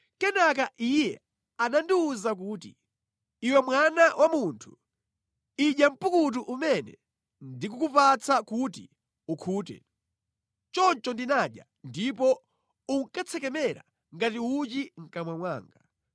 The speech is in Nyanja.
Kenaka Iye anandiwuza kuti, “Iwe mwana wa munthu, idya mpukutu umene ndikukupatsa kuti ukhute.” Choncho ndinadya, ndipo unkatsekemera ngati uchi mʼkamwa mwanga.